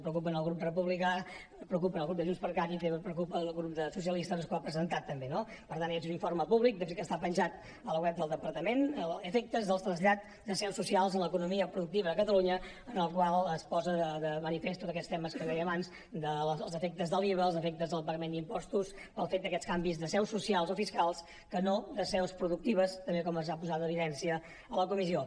preocupa al grup republicà preocupa al grup de junts per cat i també preocupa al grup socialista que és el que ho ha presentat també no per tant és un informe públic que està penjat al web del departament efectes dels trasllats de seus socials en l’economia productiva a catalunya en el qual es posen de manifest tots aquests temes que dèiem abans dels efectes de l’iva els efectes del pagament d’impostos pel fet d’aquests canvis de seus socials o fiscals que no de seus productives també com es va posar en evidència a la comissió